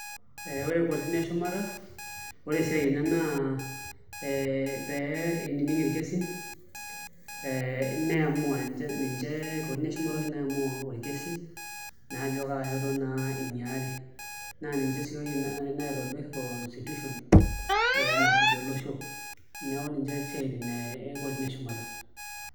Ee ore kotini eshumata ore esiai enye naa pee inining' irkesin ee niamua ninche, kotini eshumata oshi naiamua orkesi naa ajo kaa shoto naa inyiari naa ninche sii oshi naitobirr constitution ee nasuj olosho neeku ninche isiaitin e kotini eshumata.